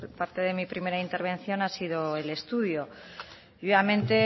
parte de mi primera intervención ha sido el estudio y obviamente